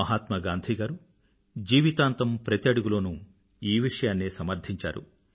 మహాత్మా గాంధీ గారు జీవితాంతం ప్రతి అడుగులోనూ ఈ విషయాన్నే సమర్ధించారు